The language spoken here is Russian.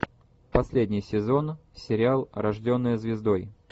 последний сезон сериал рожденная звездой